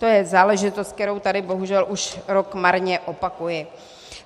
To je záležitost, kterou tady bohužel už rok marně opakuji.